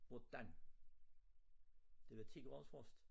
Hvordan det var 10 graders frost